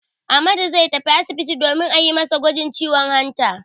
Ahmadu zai tafi asibiti domin a yi masa gwajin ciwon hanta.